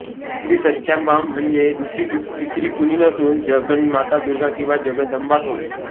श्रीसत्याम्बा म्हणजे दुसरी तिसरी कुणी नसून जगन्माता दुर्गा किंवा जगदम्बाच होय